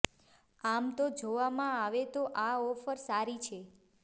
આમ તો જોવામાં આવે તો આ ઓફર સારી છે